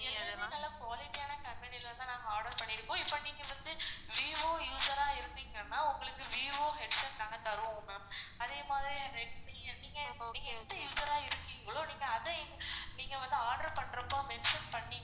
எல்லாமே நல்லா quality யான company ல தான் நாங்க order பண்ணிருக்கோம். இப்போ நீங்க வந்து vivo user ஆ இருந்தீங்கனா உங்களுக்கு vivo headphone நாங்க உங்களுக்கு தருவோம். அதே மாரி redmi நீங்க நீங்க எந்த user ஆ இருக்கீங்களோ நீங்க அத நீங்க வந்து order பண்றப்போ mention பண்ணிங்கனா